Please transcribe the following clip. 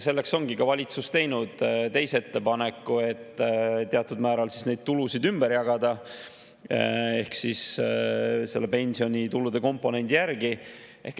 Selleks ongi valitsus teinud teise ettepaneku, et teatud määral neid tulusid ümber jagada pensionitulude komponendi järgi.